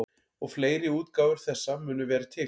Og fleiri útgáfur þessa munu vera til.